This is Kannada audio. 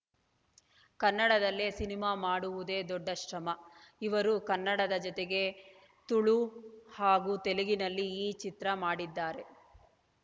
ಕನ್ನಡದಲ್ಲೇ ಸಿನಿಮಾ ಮಾಡುವುದೇ ದೊಡ್ಡ ಶ್ರಮ ಇವರು ಕನ್ನಡದ ಜತೆಗೆ ತುಳು ಹಾಗು ತೆಲುಗಿನಲ್ಲೀ ಈ ಚಿತ್ರ ಮಾಡಿದ್ದಾರೆ